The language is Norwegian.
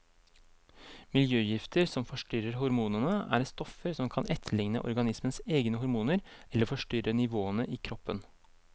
Miljøgifter som forstyrrer hormonene, er stoffer som kan etterligne organismens egne hormoner eller forstyrre nivåene i kroppen.